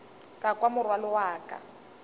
ka kwa morwalo wa ka